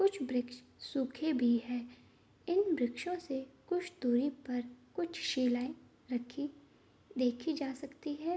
कुछ वृक्ष सूखे भी हैं इन वृक्षों से कुछ दूरी पर कुछ शिलाएं रखी देखी जा सकती है।